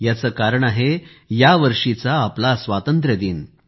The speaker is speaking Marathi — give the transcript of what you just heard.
याचे कारण आहे यावर्षीचा आपला स्वातंत्र्यदिन